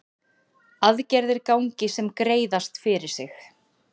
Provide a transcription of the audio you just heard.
Aðgerðir gangi sem greiðast fyrir sig